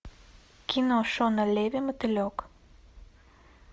кино шона леви мотылек